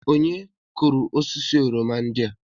Onye kụrụ osisi oroma ndị a?